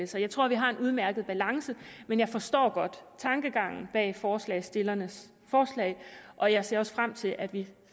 sig jeg tror vi har en udmærket balance men jeg forstår godt tankegangen bag forslagsstillernes forslag og jeg ser også frem til at vi